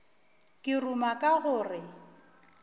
ke ruma ka go re